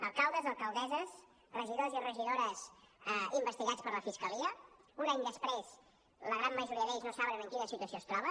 alcaldes alcaldesses regidors i regidores investigats per la fiscalia que un any després la gran majoria d’ells no saben en quina situació es troba